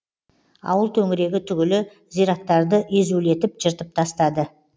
ауыл төңірегі түгілі зираттарды езулетіп жыртып тастады